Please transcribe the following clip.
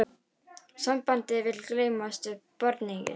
Sambandið vill gleymast við barneignir